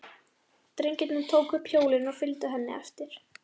Drengirnir tóku upp hjólin og fylgdu henni eftir.